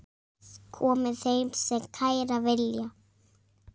Komi þeir sem kæra vilja.